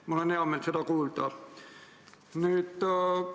Mul on hea meel seda kuulda.